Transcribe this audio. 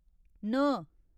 न